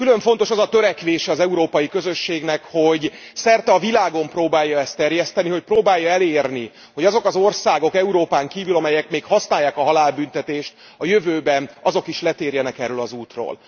Külön fontos az a törekvése az Európai Közösségnek, hogy szerte a világon próbálja ezt terjeszteni, hogy próbálja elérni, hogy azok az országok Európán kívül, amelyek még használják a halálbüntetést, a jövőben azok is letérjenek erről az útról.